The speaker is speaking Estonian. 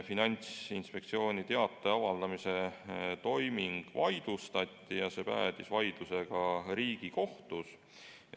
Finantsinspektsiooni teate avaldamise toiming vaidlustati ja see päädis vaidlusega Riigikohtus.